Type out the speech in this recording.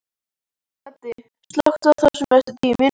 Baddi, slökktu á þessu eftir tíu mínútur.